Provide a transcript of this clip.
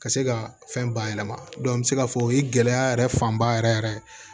Ka se ka fɛn bayɛlɛma an bɛ se k'a fɔ o ye gɛlɛya yɛrɛ fanba yɛrɛ yɛrɛ ye